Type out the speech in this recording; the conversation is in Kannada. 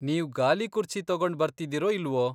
ನೀವ್ ಗಾಲಿಕುರ್ಚಿ ತಗೊಂಡ್ ಬರ್ತಿದೀರೋ ಇಲ್ವೋ?